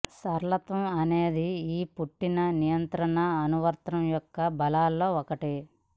సరళత్వం అనేది ఈ పుట్టిన నియంత్రణ అనువర్తనం యొక్క బలాల్లో ఒకటి